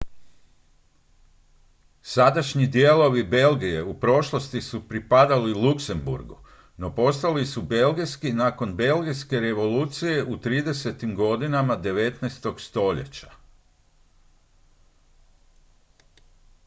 sadašnji dijelovi belgije u prošlosti su pripadali luksemburgu no postali su belgijski nakon belgijske revolucije u 30-tim godinama 19. stoljeća